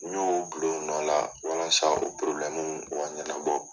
N y'o o bila o nɔ la walasa o o ka ɲɛnabɔ.